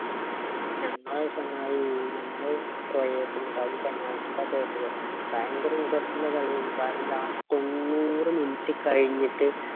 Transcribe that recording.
ഞങ്ങള് ചങ്ങായി ഞങ്ങള് ക്രോയേഷ്യ ആയിട്ടാ അതും penalty ക്കാ തോറ്റത് ഭയകര interest ഇല്ല കളിയർന്നു കാരണം last തൊണ്ണൂറ് minute കഴിഞ്ഞിട്ട്